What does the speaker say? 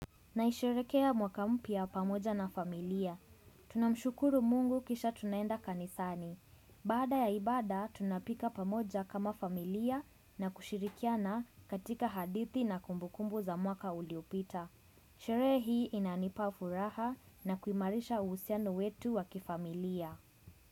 Naisherekea mwaka mpya pamoja na familia. Tunamshukuru Mungu kisha tunaenda kanisani. Baada ya ibada tunapika pamoja kama familia na kushirikiana katika hadithi na kumbukumbu za mwaka uliopita. Sherehe hii inanipa furaha na kuimarisha uhusiano wetu wakifamilia.